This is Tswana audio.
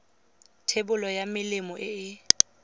thebolo ya melemo e e